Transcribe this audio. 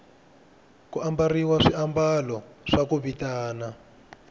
ku ambariwa swiamalo swa ku vitana